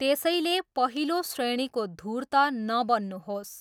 त्यसैले पहिलो श्रेणीको धुर्त नबन्नुहोस्।